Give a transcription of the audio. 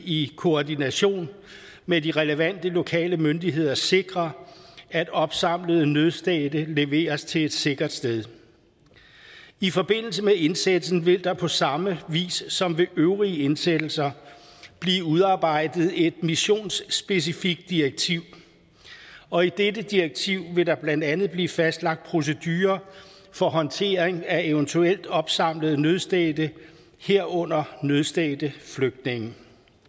i koordination med de relevante lokale myndigheder sikre at opsamlede nødstedte leveres til et sikkert sted i forbindelse med indsættelsen vil der på samme vis som ved øvrige indsættelser blive udarbejdet et missionsspecifikt direktiv og i dette direktiv vil der blandt andet blive fastlagt procedure for håndtering af eventuelt opsamlede nødstedte herunder nødstedte flygtninge